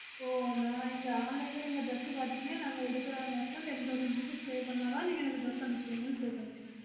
ஓ நா நீங்க online ல dress கடனீங்கனா நாங்க எடுக்குறது இருந்த ten thousand rupees pay பண்ணாத நீங்க எனக்கு dress அனுப்புவீங்கன்னு சொல்லறீங்க